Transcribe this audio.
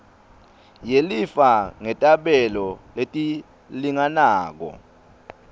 yelifa ngetabelo letilinganako